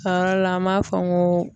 A yɔrɔ la an b'a fɔ n ko